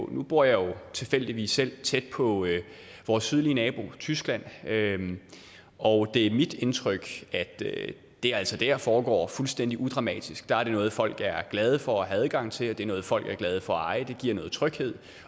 nu bor jeg jo tilfældigvis selv tæt på vores sydlige nabo tyskland og det er mit indtryk at det altså dér foregår fuldstændig udramatisk der er det noget folk er glade for at have adgang til og det er noget folk er glade for at eje det giver noget tryghed